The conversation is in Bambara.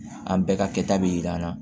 An bɛɛ ka kɛta bi yir'an na